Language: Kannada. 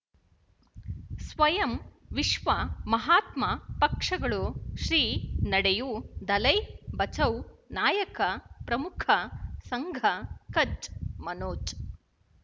ಸ್ವಯಂ ವಿಶ್ವ ಮಹಾತ್ಮ ಪಕ್ಷಗಳು ಶ್ರೀ ನಡೆಯೂ ದಲೈ ಬಚೌ ನಾಯಕ ಪ್ರಮುಖ ಸಂಘ ಕಚ್ ಮನೋಜ್